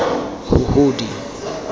huhudi